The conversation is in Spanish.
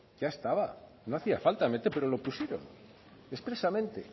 ya estaba no hacía falta pero lo pusieron expresamente